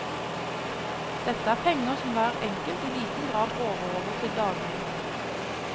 Dette er penger som hver enkelt i liten grad råder over til daglig.